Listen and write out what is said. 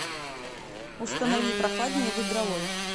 установи прохладнее в игровой